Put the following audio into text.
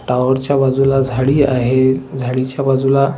tower च्या बाजूला झाडी आहे झाडीच्या बाजूला --